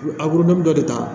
A dɔ de ta